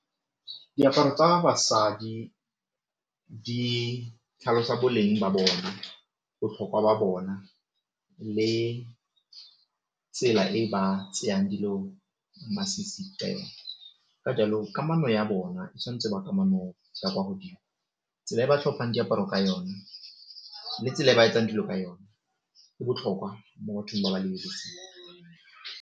Diaparo tsa basadi di tlhalosa boleng ba bona, botlhokwa ba bona, le tsela e ba tseyang dilo masisi ka jalo kamano ya bona e tshwanetse go ba kamano ya kwa godimo, tsela e ba tlhomphang diaparo ka yone le tsela e ba etsang dilo ka yone go botlhokwa mo bathong ba ba .